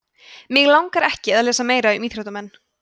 mig langar ekki að lesa meira um íþróttamenn